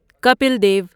Kapil Dev